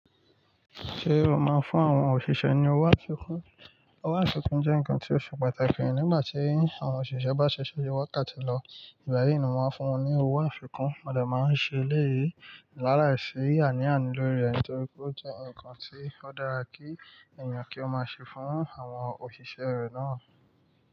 Ṣé o máa ń fún àwọn òṣìṣẹ́ ní owó àfikún? Owó àfikún jẹ́ nǹkan tí ó ṣe pàtàkì nígbà tí àwọn òṣìṣẹ́ bá ṣiṣẹ́ wákàtí lọ, ìgbà yí ni mo máa ń fún wọn ní owó àfikún, mo dè máa ń ṣe léyìí, láàláìsí àní-àní lórí rẹ̀ nítorí pé ó jẹ́ nǹkan tí ó dára kí èèyàn kí ó máa ṣe fún àwọn òṣìṣẹ́ rẹ̀ náà.